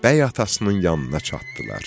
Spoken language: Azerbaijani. Bəy atasının yanına çatdılar.